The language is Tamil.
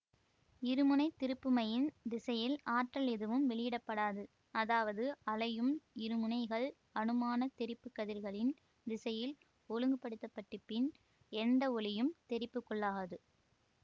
இருமுனை திருப்புமையின் திசையில் ஆற்றல் எதுவும் வெளிவிடப்படாது அதாவது அலையும் இருமுனைகள் அனுமானத் தெறிப்பு கதிர்களின் திசையில் ஒழுங்குபடுத்தப்பட்டிப்பின் எண்ட ஒளியும் தெறிப்புக்குள்ளாகாது